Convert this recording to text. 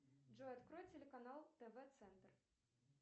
джой открой телеканал тв центр